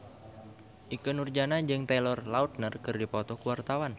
Ikke Nurjanah jeung Taylor Lautner keur dipoto ku wartawan